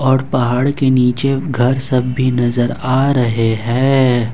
और पहाड़ के नीचे घर सब भी नजर आ रहे हैं।